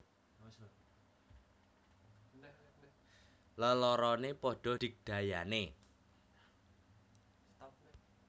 Leloroné padha digdayané